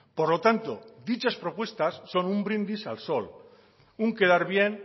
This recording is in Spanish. por lo tanto dichas propuestas son un brindis al sol un quedar bien